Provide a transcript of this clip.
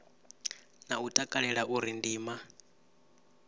na u takalela uri ndima